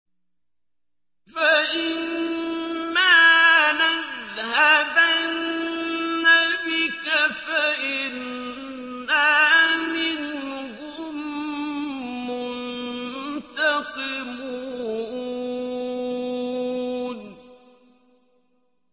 فَإِمَّا نَذْهَبَنَّ بِكَ فَإِنَّا مِنْهُم مُّنتَقِمُونَ